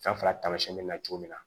San fila taamasiyɛn bɛ na cogo min na